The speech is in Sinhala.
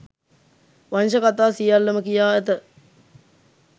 වංශ කථා සියල්ලම කියා ඇත